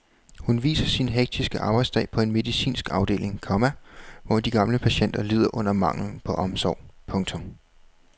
Hun viser sin hektiske arbejdsdag på en medicinsk afdeling, komma hvor de gamle patienter lider under manglen på omsorg. punktum